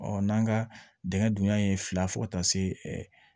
Ɔ n'an ka dingɛ dunya ye fila fɔ ka taa se